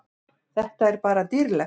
Þetta er bara dýrlegt.